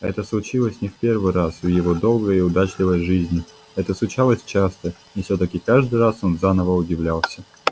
это случилось не в первый раз в его долгой и удачливой жизни это случалось часто и все таки каждый раз он заново удивлялся